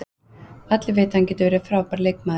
Allir vita að hann getur verið frábær leikmaður.